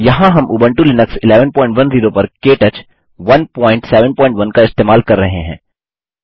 यहाँ हम Ubuntu Linux 1110 पर के टच 171 का इस्तेमाल कर रहे हैं